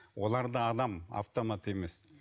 олар да адам автомат емес